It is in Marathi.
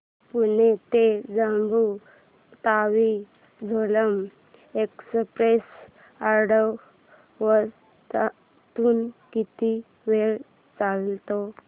पुणे ते जम्मू तावी झेलम एक्स्प्रेस आठवड्यातून किती वेळा चालते